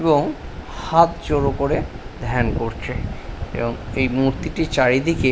এবং হাত জোড় করে ধ্যান করছে এবং এই মূর্তিটির চারিদিকে--